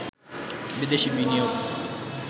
বিদেশি বিনিয়োগ